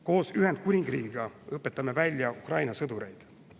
Koos Ühendkuningriigiga õpetame välja Ukraina sõdureid.